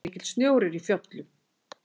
Mikill snjór er í fjöllum.